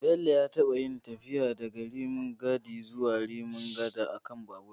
Bello ya taɓa yin tafiya daga Rimin Gadi zuwa Rimin Gata a kan babur